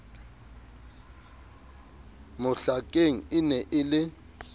mohlakeng e ne e le